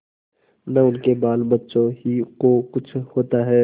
न उनके बालबच्चों ही को कुछ होता है